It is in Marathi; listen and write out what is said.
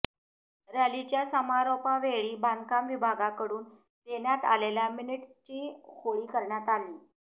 रॅलीच्या समारोपावेळी बांधकाम विभागाकडून देण्यात आलेल्या मिनिटस्ची होळी करण्यात आली